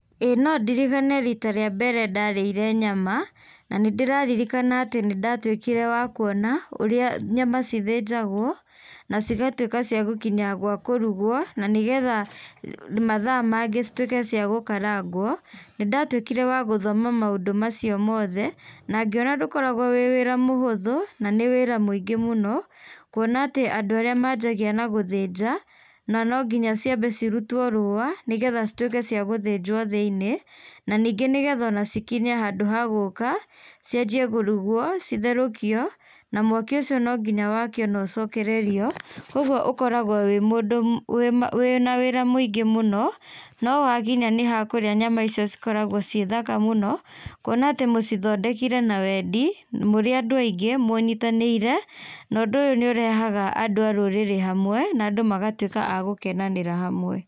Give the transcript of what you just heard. ĩĩ nondirikane rita rĩa mbere ndarĩire nyama na nĩndĩraririkana atĩ nĩndatũikire wa kuona ũria nyama cithĩnjagwo na cigatuĩka cia gũkinya gwa kũrũgwo na nĩgetha mathaa mangĩ cituĩke cia gũkarangwo, nĩndatuĩkire wa gũthoma maũndũ macio mothe nangĩona ndũkoragwo wĩ wĩra mũhũthũ na nĩ wĩra mũingĩ mũno kuona atĩ andũ arĩa manjagia na gũthĩnja na no nginya ciambe cirutwo rũa nĩgetha cituĩke cia gũthĩnjwo thĩiniĩ, na ningĩ nĩgetha cikinye handũ ha gũka cianjie kũrũgwo, citherũkio na mwaki ũcio no nginya wakio no cokererwo, kwoguo okoragwo wĩ mũndũ wĩ na wĩra mũingĩ mũno, no hakinya nĩ hakũrĩa nyama icio cikoragwo cĩ thaka mũno kuona atĩ mũcithondekire na wendi, mũrĩ andũ aingĩ mũnyitanĩire, na ũndũ ũyũ nĩ ũrehaga andũ a rũrĩrĩ hamwe na andũ magatuĩka agũkenanĩra hamwe.